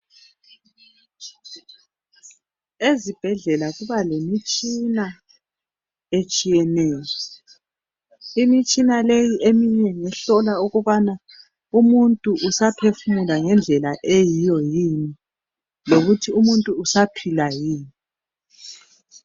Ezibhedlela kuba lemitshina etshiyeneyo. Imitshina leyi eminye ngehlola ukubana umuntu usaphefumula ngendlela eyiyo yini, lokuthi umuntu usaphila yini.